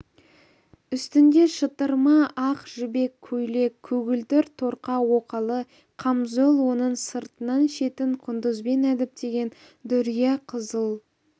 үстінде шытырма ақ жібек көйлек көгілдір торқа оқалы қамзол оның сыртынан шетін құндызбен әдіптеген дүрия қызыл